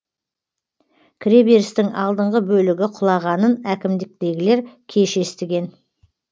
кіреберістің алдыңғы бөлігі құлағанын әкімдіктегілер кеш естіген